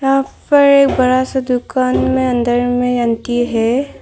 यहां पर एक बड़ा सा दुकान में अंदर में अंटी है।